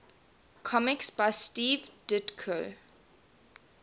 comics by steve ditko